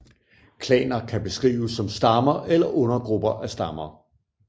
Klaner kan beskrives som stammer eller undergrupper af stammer